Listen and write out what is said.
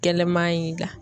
Gɛlɛma in ga